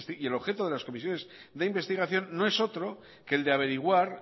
y el objeto de las comisiones de investigación no es otro que el de averiguar